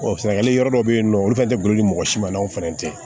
sɛnɛgali yɔrɔ dɔ be yen nɔ olu fɛnɛ te boli ni mɔgɔ si ma anw fɛnɛ te yen